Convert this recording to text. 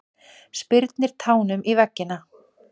Spyrnir tánum í veggina.